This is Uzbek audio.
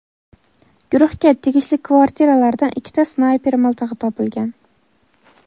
guruhga tegishli kvartiralardan ikkita snayper miltig‘i topilgan.